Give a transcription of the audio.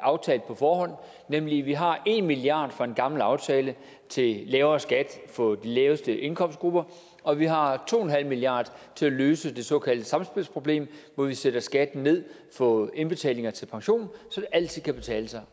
aftalt på forhånd nemlig at vi har en milliard kroner fra en gammel aftale til lavere skat for de laveste indkomstgrupper og at vi har to milliard kroner til at løse det såkaldte samspilsproblem hvor vi sætter skatten ned på indbetalinger til pension så det altid kan betale sig